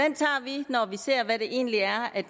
egentlig er